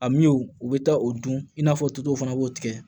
A min u bɛ taa o dun i n'a fɔ tutow fana b'u tigɛ